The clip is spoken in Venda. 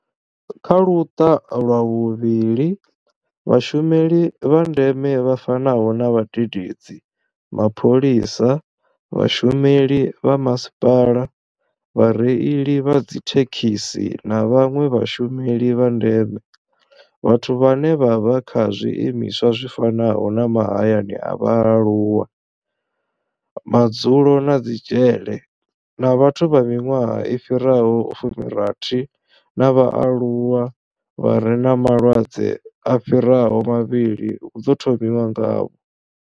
Kha Luṱa lwa vhuvhili, Vhashumeli vha ndeme vha fanaho na vhadededzi, mapholisa, vhashumeli vha masipala, vhareili vha dzithe khisi na vhanwe vhashumeli vha ndeme, vhathu vhane vha vha kha zwiimiswa zwi fanaho na mahayani a vhaaluwa, madzulo na dzi dzhele na vhathu vha miṅwaha i fhiraho fumi rathi na vhaaluwa vha re na malwadze a fhiraho mavhili hu ḓo thomiwa ngavho.